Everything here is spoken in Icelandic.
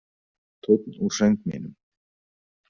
Tónn úr söng mínum.